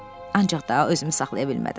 Ancaq daha özümü saxlaya bilmədim.